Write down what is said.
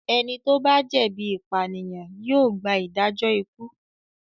Ẹni tó bá jẹ̀bi ìpànìyàn yóò gba ìdájọ́ ikú.